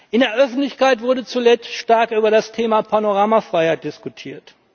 In der Öffentlichkeit wurde zuletzt stark über das Thema Panoramafreiheit diskutiert.